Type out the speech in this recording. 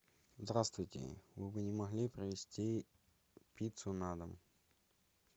здравствуйте вы бы не могли привезти пиццу на дом